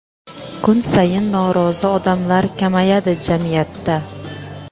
kun sayin norozi odamlar kamayadi jamiyatda.